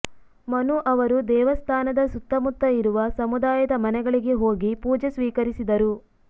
ಮನು ಅವರು ದೇವಸ್ಥಾನದ ಸುತ್ತಮುತ್ತ ಇರುವ ಸಮುದಾಯದ ಮನೆಗಳಿಗೆ ಹೋಗಿ ಪೂಜೆ ಸ್ವೀಕರಿಸಿದರು